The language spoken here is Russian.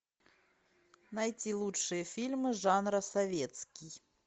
найти лучшие фильмы жанра советский